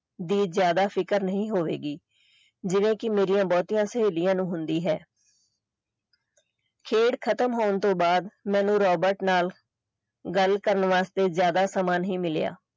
ਦੀ ਜ਼ਿਆਦਾ ਫਿਕਰ ਨਹੀਂ ਹੋਵੇਗੀ ਜਿਵੇਂ ਕਿ ਮੇਰੀ ਬਹੁਤੀਆਂ ਸਹੇਲੀਆਂ ਨੂੰ ਹੁੰਦੀ ਹੈ ਖੇਡ ਖਤਮ ਹੋਣ ਤੋਂ ਬਾਅਦ ਮੈਨੂੰ ਰਾਬਰਟ ਨਾਲ ਗੱਲ ਕਰਨ ਵਾਸਤੇ ਜ਼ਿਆਦਾ ਸਮਾਂ ਨਹੀਂ ਮਿਲਿਆ।